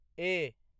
ए